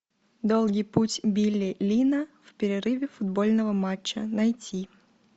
долгий путь билли линна в перерыве футбольного матча найти